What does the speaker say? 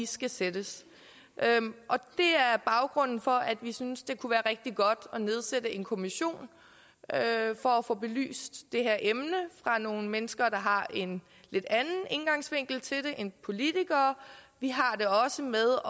skal sættes det er baggrunden for at vi synes det kunne være rigtig godt at nedsætte en kommission for at få belyst det her emne af nogle mennesker der har en lidt anden indgangsvinkel til det end politikere vi har det også med